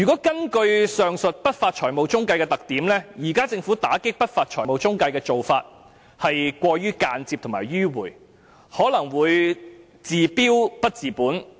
根據上述不法財務中介的特點，政府現時打擊不法財務中介的做法是過於間接和迂迴，可能會治標不治本。